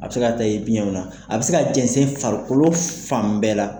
A bɛ se ka taa i biyɛnw na, a bɛ se ka jɛnsɛn i farikolo fan bɛɛ la.